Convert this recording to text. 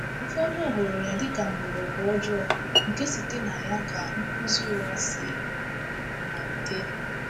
Ụfọdụ hụrụ ya dịka mgbọrọgwụ ọjọọ nke site na ya ka nkuzi ụgha si malite.